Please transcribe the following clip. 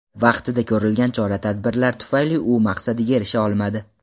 Vaqtida ko‘rilgan chora-tadbirlar tufayli u maqsadiga erisha olmadi.